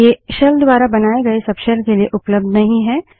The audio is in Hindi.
ये शेल द्वारा बनाए गए सबशेल के लिए उपलब्ध नहीं हैं